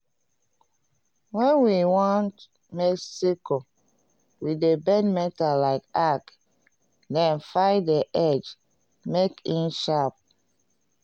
wen we want make sickle we dey bend metal like arc then file the edge make e sharp